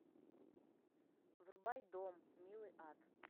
врубай дом милый ад